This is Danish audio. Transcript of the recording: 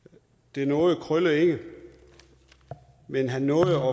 det nåede krølle ikke men han nåede